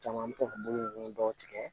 Caman an bɛ to ka bɔgɔ dɔw tigɛ